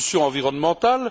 Pollution environnementale?